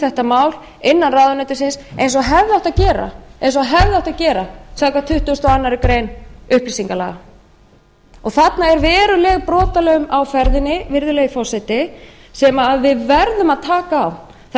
þetta mál innan ráðuneytisins eins og hefði átt að gera samkvæmt tuttugustu og aðra grein upplýsingalaga þarna er veruleg brotalöm á ferðinni virðulegi forseti sem við verðum að taka á það